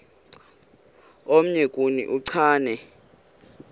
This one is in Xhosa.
omnye kuni uchane